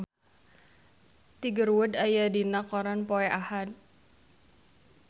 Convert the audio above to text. Tiger Wood aya dina koran poe Ahad